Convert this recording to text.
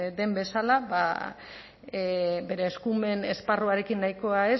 den bezala bere eskumen esparruarekin nahikoa